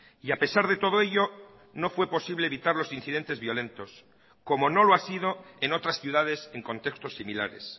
y a pesar de todo ello no fue posible evitar los incidentes violentos como no lo ha sido en otras ciudades en contextos similares